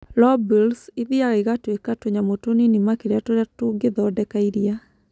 Lobules ithiaga igatuĩka tũnyamũ tũnini makĩria tũria tũngĩthondeka iria.